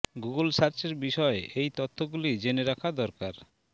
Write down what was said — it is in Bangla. গুগল সার্চের বিষয় এই তথ্য গুলি জেনে রাখা দরকার